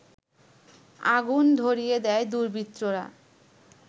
আগুন ধরিয়ে দেয় দুর্বৃত্তরা